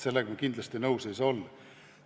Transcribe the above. Sellega kindlasti nõus ei saa olla.